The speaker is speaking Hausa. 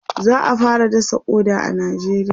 za'a fara dasa ƙoda a nijeriya